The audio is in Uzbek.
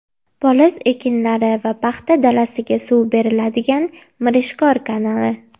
Poliz ekinlari va paxta dalasiga suv beriladigan Mirishkor kanali.